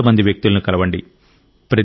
మరింత మంది వ్యక్తులను కలవండి